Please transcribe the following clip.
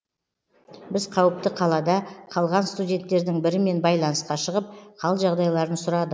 біз қауіпті қалада қалған студенттердің бірімен байланысқа шығып қал жағдайларын сұрады